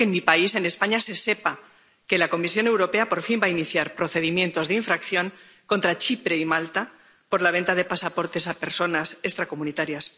Y quiero que en mi país, en España, se sepa que la Comisión Europea, por fin, va a iniciar procedimientos de infracción contra Chipre y Malta por la venta de pasaportes a personas extracomunitarias.